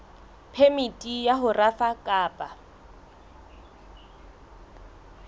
phemiti ya ho rafa kapa